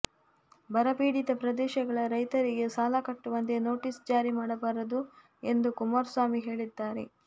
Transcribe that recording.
ಬರಪೀಡಿತ ಪ್ರದೇಶಗಳ ರೈತರಿಗೆ ಸಾಲ ಕಟ್ಟುವಂತೆ ನೋಟೀಸ್ ಜಾರಿ ಮಾಡಬಾರದು ಎಂದು ಕುಮಾರಸ್ವಾಮಿ ಹೇಳಿದ್ದಾರೆ